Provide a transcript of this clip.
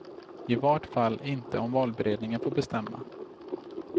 I vart fall inte om valberedningen får bestämma.